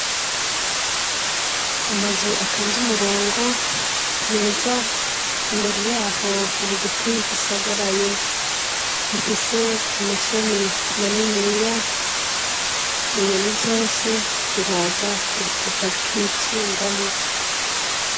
Amazu atonze umurongo meza, imbere yaho hari igiti gisagaraye gifise amashami maniniya, inyoni zose ziraza zikacikingamwo.